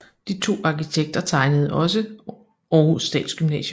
De to arkitekter tegnede også Århus Statsgymnasium